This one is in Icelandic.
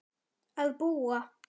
að búa.